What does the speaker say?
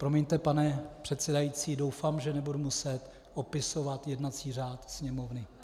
Promiňte, pane předsedající, doufám, že nebudu muset opisovat jednací řád Sněmovny.